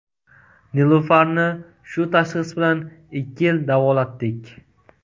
Nilufarni shu tashxis bilan ikki yil davolatdik.